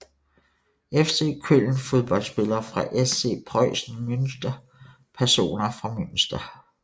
FC Köln Fodboldspillere fra SC Preußen Münster Personer fra Münster